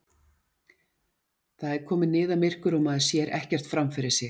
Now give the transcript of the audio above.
Það er komið niðamyrkur og maður sér ekkert fram fyrir sig!